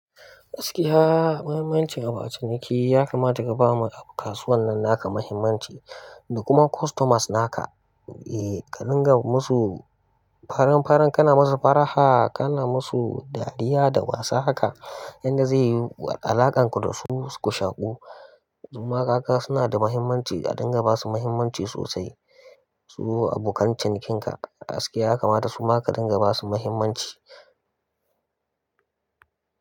Gaskiya muhimmancin abu a ciniki ya kamata kabama kasuwan nan naka mahimmanci da kuma customers naka. Eh ka dinga musu farin-farin, kana musu faraha, kana musu dariya da wasa haka. Inda zai yiyu alakan ku dasu ku shaƙu. Suma kaga sunada mahimmanci a dinga basu mahimmanci sosai. Su abokan cinikin ka gaskiya ya kamata suma ka dinga basu mahimmanci.